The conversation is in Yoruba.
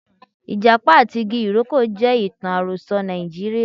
Ijapa ati igi iroko je itan aroso Naijiria.